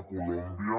a colòmbia